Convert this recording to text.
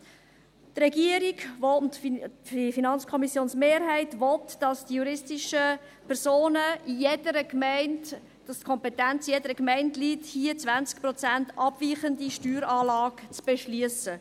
Die Regierung und die FiKo-Mehrheit will, dass die Kompetenz in jeder Gemeinde liegt, um hier eine um 20 Prozent abweichende Steueranlage für juristische Personen zu beschliessen.